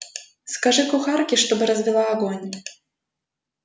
скажи кухарке чтобы развела огонь